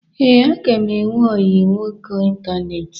Ee, aga m enwe ọyị nwoke ịntaneetị.